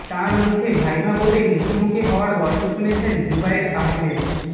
তাঁর মুখে ভাইভা বোর্ডে মুখোমুখি হওয়ার গল্প শুনেছেন জুবায়ের আহম্মেদ